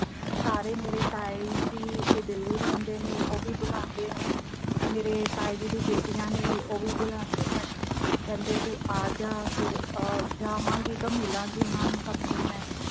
ਸਾਰੇ ਮੇਰੇ ਤਾਏ ਜੀ ਇਹ ਦਿੱਲੀ ਰਹਿੰਦੇ ਨੇ ਉਹ ਵੀ ਬੁਲਾਂਦੇ ਹਨ। ਮੇਰੇ ਤਾਏ ਜੀ ਦੀਆਂ ਬੇਟੀਆਂ ਨੇ ਉਹ ਵੀ ਬੁਲਾਂਦਿਆਂ ਹਨ, ਕਹਿੰਦੇ ਤੂੰ ਆ ਜਾ ਫਿਰ ਆ ਜਾਵਾਂਗੀ ਤਾਂ ਫਿਰ ਮਿਲਾ ਗਈ ਸਭ ਨੂੰ ਮੈਂ